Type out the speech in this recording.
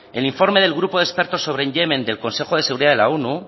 el informe del grupo de experto sobre yemen del consejo de seguridad de la onu